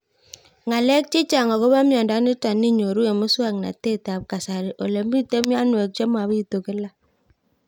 Ng'alek chechang' akopo miondo nitok inyoru eng' muswog'natet ab kasari ole mito mianwek che mapitu kila